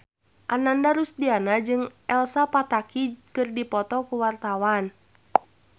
Ananda Rusdiana jeung Elsa Pataky keur dipoto ku wartawan